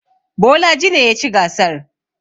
Bolaji ne ya ci gasar.